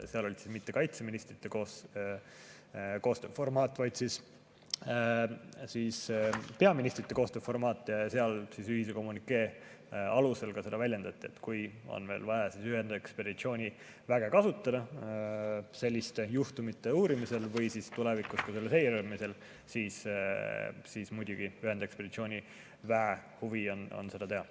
Seal ei olnud mitte kaitseministrite koostööformaat, vaid peaministrite koostööformaat ja seal ühise kommünikee alusel väljendati, et kui meil on vaja ühendekspeditsiooniväge kasutada selliste juhtumite uurimisel või siis tulevikus selle seiramisel, siis muidugi ühendekspeditsiooniväe huvi on seda teha.